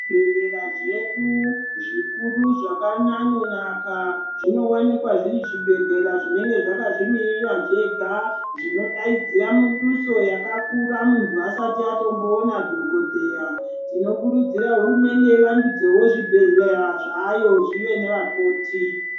Zvibhehlera zvedu zvikuru zvakanyanyonaka zvinowanikwa zviri zvibhehlera zvinenge zvakazvimirira zvega zvinodaidzira miduso yakakura muntu asati atomboona dhokotera .Tinokurudzira hurumente ivandudze zvibhehlera zvayo zvive nevakoti.